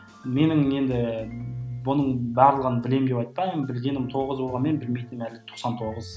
менің енді бұның барлығын білемін деп айтпаймын білгенім тоғыз болғанмен білмейтінім әлі тоқсан тоғыз